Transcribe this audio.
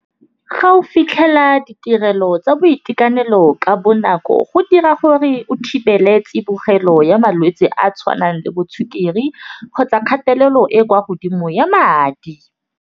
Ga o fitlhela ditirelo tsa boitekanelo ka bonako go dira gore o thibele tsebogelo ya malwetse a a tshwanang le bo sukiri, kgotsa kgatelelo e kwa godimo ya madi.